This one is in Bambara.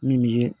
Min ye